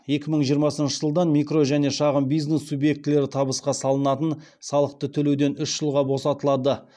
екі мың жиырмасыншы жылдан микро және шағын бизнес субъектілері табысқа салынатын салықты төлеуден үш жылға босатылады